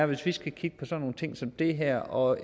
hvis vi skal kigge på sådan nogle ting som det her og